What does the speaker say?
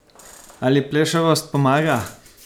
Ali plešavost pomaga?